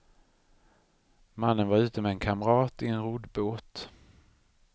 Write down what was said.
Mannen var ute med en kamrat i en roddbåt.